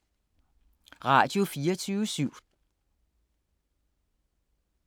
Radio24syv